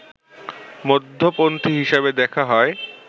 মধ্যপন্থী হিসাবে দেখা হয়